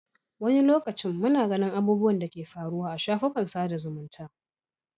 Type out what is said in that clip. Wani lokacin muna ganin abubuwan da ke faruwa a shafukan sada zumunta.